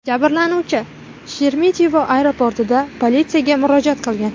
Jabrlanuvchi Sheremetyevo aeroportida politsiyaga murojaat qilgan.